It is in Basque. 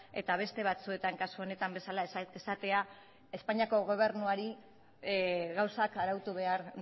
eta beste batzuetan kasu honetan bezala esatea espainiako gobernuari gauzak arautu behar